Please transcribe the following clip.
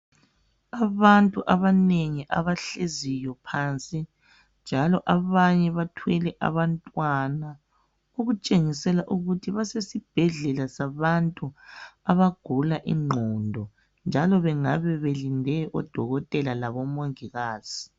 Abantu abanengi abahleziyo phansi njalo abanye bathwele abantwana okutshengisela ukuthi basesibhedlela sabantu abagula ingqondo njalo bengabe belinde odokotela labomongikazi